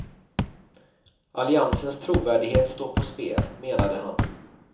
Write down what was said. Alliansens trovärdighet står på spel, menade han.